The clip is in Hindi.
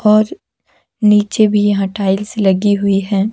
और नीचे भी यहाँ टाइल्स लगी हुई है।